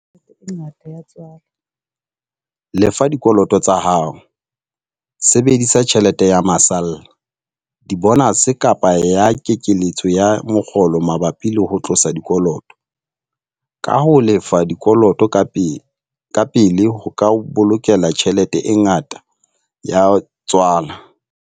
Lefa dikoloto tsa hao - Sebedisa tjhelete ya masalla, dibonase kapa ya kekeletso ya mokgolo mabapi le ho tlosa dikoloto, kaha ho lefa dikoloto ka pele ho ka o bolokela tjhelete e ngata ya tswala.